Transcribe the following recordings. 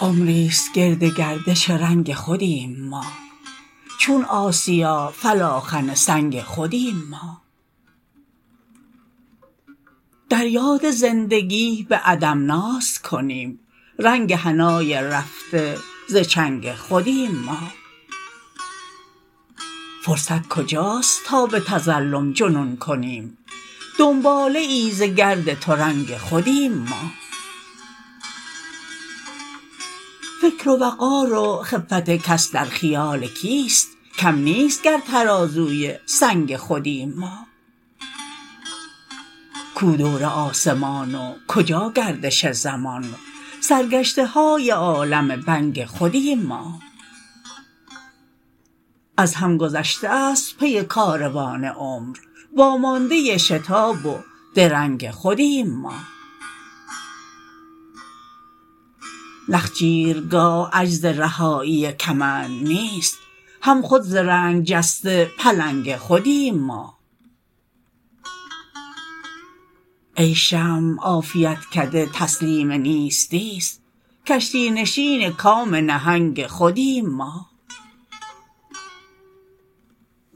عمری ست گردگردش رنگ خودیم ما چون آسیا فلاخن سنگ خودیم ما دریاد زندگی به عدم ناز کنیم رنگ حنای رفته زچنگ خودیم ما فرصت کجاست تا به تظلم جنون کنیم دنباله ای زگرد ترنگ خودیم ما فکر و وقار و خفت کس در خیال کیست کم نیست گرترازوی سنگ خودیم ما کو دور آسمان وکجا گردش زمان سرگشته های عالم بنگ خودیم ما از هم گذشته است پی کاروان عمر وامانده شتاب و درنگ خودیم ما نخجیرگاه عجز رهایی کمند نیست هم خود ز رنگ جسته پلنگ خودیم ما ای شمع عافیتکده تسلیم نیستی ست کشتی نشین کام نهنگ خودیم ما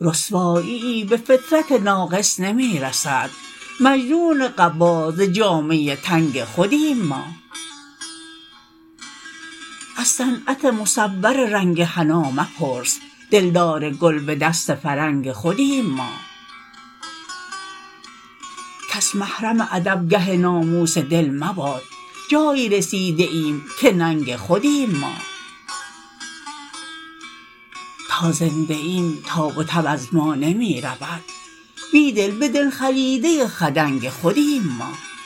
رسواییی به فطرت ناقص نمی رسد مجنون قبا ز جامه تنگ خودیم ما از صنعت مصوررنگ حنا مپرس دلدارگل به دست فرنگ خودیم ما کس محرم ادبگه ناموس دل مباد جایی رسیده ایم که ننگ خودیم ما تا زنده ایم تاب وتب از ما نمی رود بیدل به دل خلیده خدنگ خودیم ما